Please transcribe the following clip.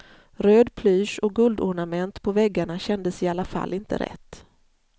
Röd plysch och guldornament på väggarna kändes i alla fall inte rätt.